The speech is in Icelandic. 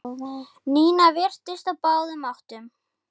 Nína virtist á báðum áttum.